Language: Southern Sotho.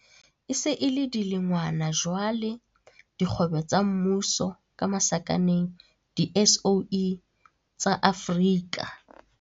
E se e le dilengwana jwale dikgwebo tsa mmuso di-SOE, tsa Afrika.